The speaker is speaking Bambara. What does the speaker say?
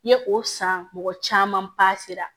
I ye o san mɔgɔ caman sera